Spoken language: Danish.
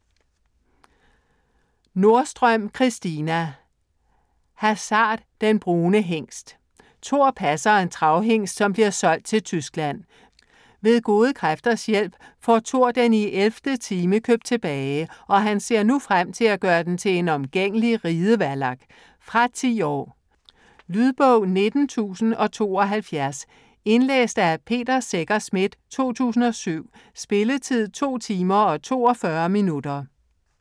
Nordstrøm, Christina: Hasard - den brune hingst Thor passer en travhingst, som bliver solgt til Tyskland. Ved gode kræfters hjælp får Thor den i 11. time købt tilbage, og han ser nu frem til at gøre den til en omgængelig ridevallak. Fra 10 år. Lydbog 19072 Indlæst af Peter Secher Schmidt, 2007. Spilletid: 2 timer, 42 minutter.